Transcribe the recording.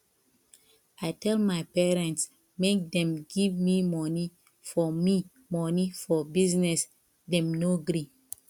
i tell my parents make dem give me money for me money for business dem no gree